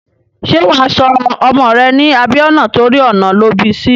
Ṣé wà á sọ ọmọ rẹ̀ ní Abíọ́nà torí ọ̀nà lọ bí sí?